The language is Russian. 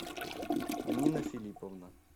нина филипповна